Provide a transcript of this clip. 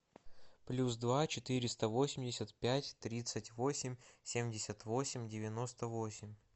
плюс два четыреста восемьдесят пять тридцать восемь семьдесят восемь девяносто восемь